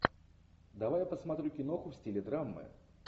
давай я посмотрю киноху в стиле драмы